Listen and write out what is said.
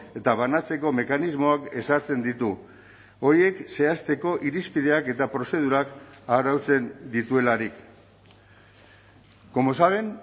eta banatzeko mekanismoak ezartzen ditu horiek zehazteko irizpideak eta prozedurak arautzen dituelarik como saben